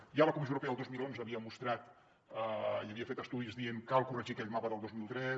ja la comissió europea el dos mil onze havia mostrat i havia fet estudis dient cal corregir aquell mapa del dos mil tres